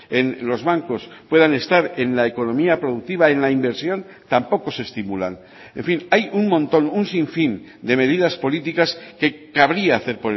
en los bancos puedan estar en la economía productiva en la inversión tampoco se estimulan en fin hay un montón un sinfín de medidas políticas que cabría hacer